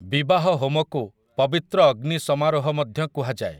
ବିବାହ ହୋମ କୁ 'ପବିତ୍ର ଅଗ୍ନି ସମାରୋହ' ମଧ୍ୟ କୁହାଯାଏ ।